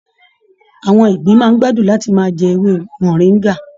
Àwọn ìgbín máa n gbádùn láti máà jẹ ewé moringa.